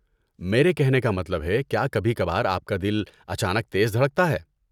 میرے کہنے کا مطلب ہے، کیا کبھی کبھار آپ کا دل اچانک تیز دھڑکتا ہے؟